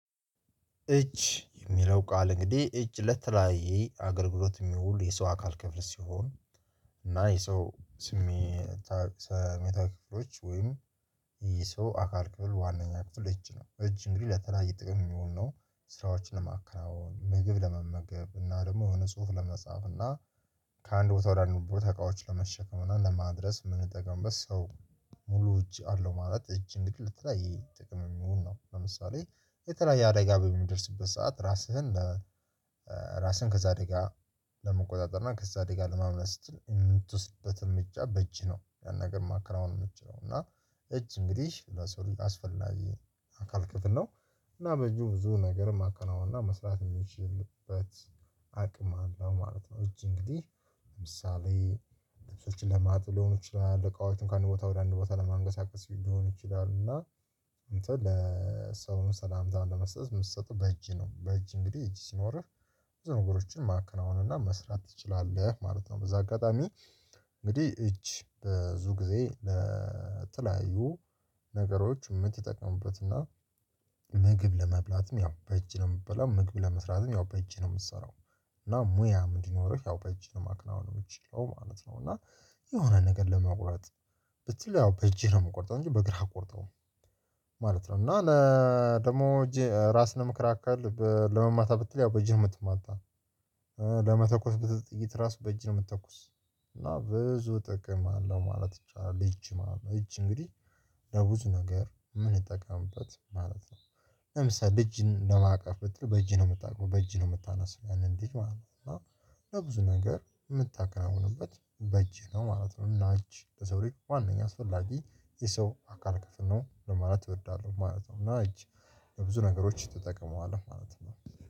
እጅ የሚለው ቃል እንግዲህ እጅ ለተለያየ አገልግሎት የሚውሉ የሰው አካል ክፍል ሲሆን እና የሰው ስሜታዊ ክፍሎች ወይም የሰው አካል ክፍል ዋነኛ ክፍል እጅ ነው። እጅ እንግዲህ ለተለያየ ጥቅም የሚውል ነው። ስራዎችን ለማከራውን ምግብ ለመመገብ እና ደግሞ የሆነ ጽሁፍ ለመጻፍ እና ከአንድ ቦታ ወደ አንድ ቦታ እቃዎችን ለመሸከም እና ለማድረስ የምንጠቀምበት ሰው ሙሉ እጅ አለው። ማለት እጅ እንግዲህ ለተለያየ ጥቅም የሚሆን ነው። ለምሳሌ የተለያየ አደጋ በሚደርስበት ሰዓት ራስህን ራስህን ከዛ አደጋ ለመቆጣጠር እና ከዛ አደጋ ለማምለጥ ስትል የምትወስድበትም እርምጃ በእጅህ ነው። ያን ነገር ማከራውን የምትችለው እና እጅ እንግዲህ ለሰው ልጅ አስፈላጊ አካል ክፍል ነው። እና በእጁ ብዙ ነገር ማከናወን እና መስራት የሚችልበት አቅም አለው ማለት ነው። እጅ እንግዲህ ለምሳሌ ልብሶችን ለማጠብ ለሆኑት ለአለቃዎች ከአንድ ቦታ ወደ አንድ ቦታ ለማንቀሳቀስ ሊሆን ይችላል። እና አንተ ለሰውም ሰላምታም ለመስጠት የምትሰጠው በእጅ ነው። በእጅ እንግዲህ እጅ ሲኖርህ ብዙ ነገሮችን ማከናወን እና መስራት ትችላለህ ማለት ነው። በዛ አጋጣሚ እንግዲህ እጅ ብዙ ጊዜ ለተለያዩ ነገሮች የምትጠቀሙበት እና ምግብ ለመብላትም ያው በእጅ ነው የምትበላው ምግብ ለመስራትም ያው በእጅ ነው የምትሰራው። እና ሙያ ምን እንዲኖረሽ ያው በእጅ ማክናወን የምችለው ማለት ነው። እና የሆነ ነገር ለመቁረጥ ብትል ያው በእጅህ ነው የምቆርጠው እንጂ በእግርህ አቆርጠው ማለት ነው። እና ደግሞ እጄ ራስን ለመከላከል ለመማታት ብትል ያው በእጅህ የምትማታው ለመተኮስ ብትል ጥይት ራሱ በእጅህ ነው የምትተኩስ እና ብዙ ጥቅም አለው ማለት ይቻላል። እጅ ማለት ነው እጅ እንግዲህ ለብዙ ነገር ምንጠቀምበት ማለት ነው። ለምሳሌ ልጅን ለማቀፍ ብትል በእጅህ ነው የምታቅፈው በእጅ ነው የምታነሳው ያንን ልጅ ማለት እና ለብዙ ነገር የምታከናውንበት በእጄ ነው ማለት ነው። እና እጅ ለሰው ላይ ዋናኛ አስፈላጊ የሰው አካል ክፍል ነው ለማለት እወዳለሁ ማለት ነው። እና እጅ ለብዙ ነገሮች ትጠቀመዋለህ ማለት ነው።